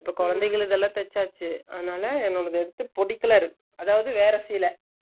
இந்த குழந்தைகளுக்கெல்லாம் தேச்சாச்சு அதுனால நம்ம வந்துட்டு பொடிக் colour அதாவது வேற சேல